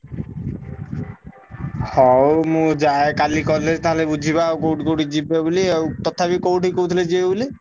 ହଉ ମୁଁ ଯାଏ କାଲି college ତାହେଲେ ବୁଝିବା ଆଉ କୋଉଠି କୋଉଠି ଯିବା ବୋଲି ଆଉ ତଥାପି କୋଉଠିକି କହୁଥିଲେ ଯିବେ ବୋଲି?